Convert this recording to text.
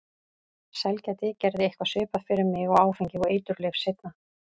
Sælgæti gerði eitthvað svipað fyrir mig og áfengi og eiturlyf seinna.